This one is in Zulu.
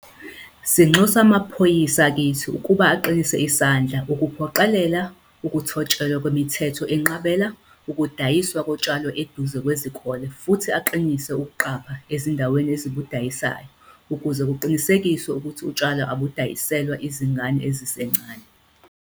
Sinxusa amaphoyisa akithi ukuba aqinise isandla ukuphoqelela ukuthotshelwa kwemithetho enqabela ukudayiswa kotshwala eduze kwezikole futhi aqinise ukuqapha izindawo ezibudayisayo ukuze kuqinisekiswe ukuthi utshwala abudayiselwa izingane ezisencane.